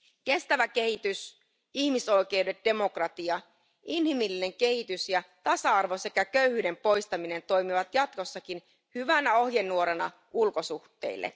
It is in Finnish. Kestävä kehitys, ihmisoikeudet, demokratia, inhimillinen kehitys ja tasa arvo sekä köyhyyden poistaminen toimivat jatkossakin hyvänä ohjenuorana ulkosuhteille.